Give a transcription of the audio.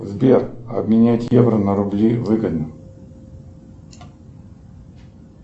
сбер обменять евро на рубли выгодно